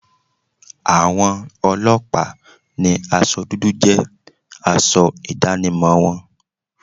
Àwọn ọlọ́pàá ni aṣọ dúdú jẹ́ aṣọ ìdánimọ̀ wọn.